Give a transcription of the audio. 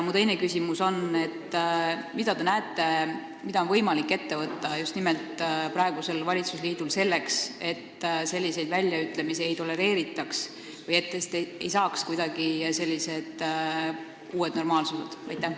Minu teine küsimus on: mida on teie arvates võimalik ette võtta just nimelt praegusel valitsusliidul, selleks et selliseid väljaütlemisi ei tolereeritaks või neist ei saaks uued normaalsused?